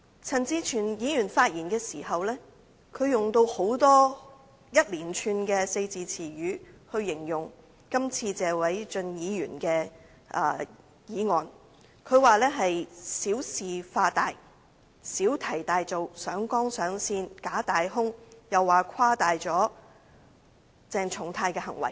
陳志全議員發言時用了一連串的四字詞語來形容謝偉俊議員的議案，他說這是小事化大、小題大做、上綱上線、假大空，又說議案誇大了鄭松泰議員的行為。